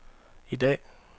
i dag